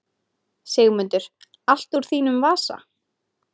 Sigmundur: Allt úr þínum vasa?